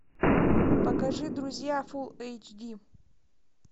покажи друзья фул эйч ди